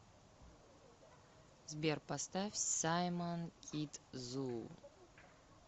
сбер поставь саймон кидзу